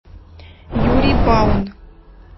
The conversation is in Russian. юрий баун